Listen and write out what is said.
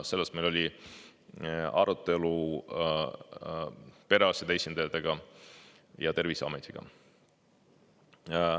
Selle üle meil oli arutelu perearstide esindajatega ja Terviseametiga.